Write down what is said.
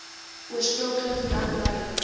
oorspronklik jan lui